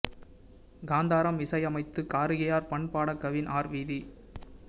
காந்தாரம் இசை அமைத்துத் காரிகையார் பண் பாடக் கவின் ஆர் வீதி